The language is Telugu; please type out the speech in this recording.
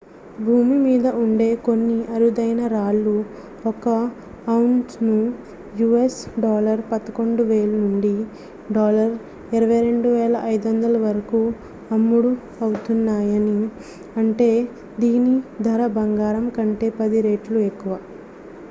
భూమి మీద ఉండే కొన్ని అరుదైన రాళ్ళు ఒక ఔన్స్‌కు us$11,000 నుండి $22,500 వరకు అమ్ముడవుతున్నాయి అంటే దీని ధర బంగారం కంటే 10 రెట్లు ఎక్కువ